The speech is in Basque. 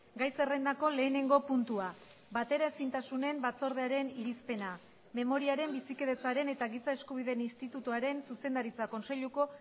gai zerrendako lehenengo puntua bateraezintasunen batzordearen irizpena memoriaren bizikidetzaren eta giza eskubideen institutuaren zuzendaritza kontseiluko